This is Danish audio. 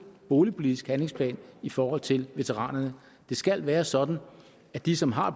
boligpolitisk handlingsplan i forhold til veteranerne det skal være sådan at de som har